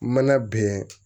Mana bɛn